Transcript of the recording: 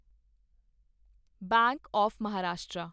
bank of Maharashtra